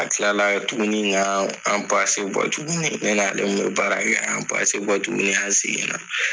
A kila la tuguni ka an tuguni ne ni ale min bɛ baara kɛ an bɔ tuguni an segin na.